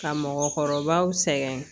Ka mɔgɔkɔrɔbaw sɛgɛn